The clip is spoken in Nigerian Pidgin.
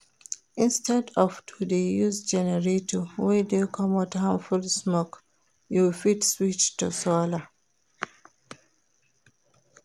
Instead of to de use generator wey de comot harmful smoke you fit switch to solar